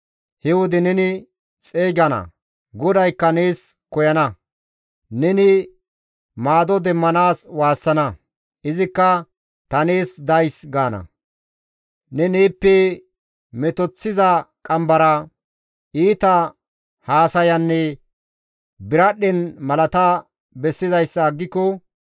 He wode neni xeygana; GODAYKKA nees koyana. Neni maado demmanaas waassana; izikka, ‹Ta nees days› gaana. «Ne neeppe metoththiza qambara, iita haasayanne biradhdhen malata bessizayssa aggiko,